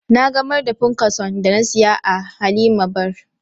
Na gamar da punkason da na siya a 'Halima bar "